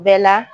Bɛɛ la